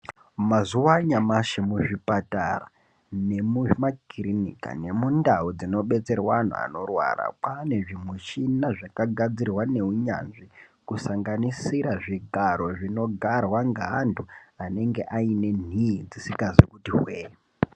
Mazuwa anyamashi muzvipatara, nemumakirinika nemundau dzinobetserwa anhu anorwara, kwane zvimuchina zvakagadzirwa nehunyanzvi kusanganisira zvigaro zvinogarwa ngeantu anenge ane nhiyi dzisikazi kuti hwee.